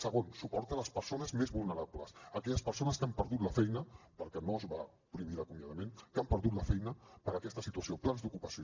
segon suport a les persones més vulnerables aquelles persones que han perdut la feina perquè no es va prohibir l’acomiadament per aquesta situació plans d’ocupació